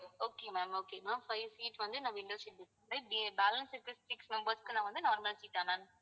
okay ma'am okay ma'am five seat வந்து நான் window seat book பண்ணுறேன் balance இருக்க six members க்கு நான் வந்து normal seat ஆ ma'am